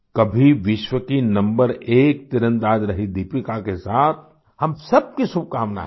कभी विश्व की नंबर एक तीरंदाज़ रहीं दीपिका के साथ हम सबकी शुभकामनाएँ हैं